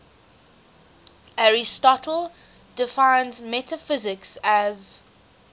aristotle defines metaphysics as